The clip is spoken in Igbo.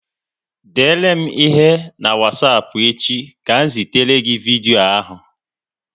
Dere m ihe n'wasapu echi ka m zitere gị vidyo ahu